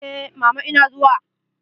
Eh, mama ina zuwa.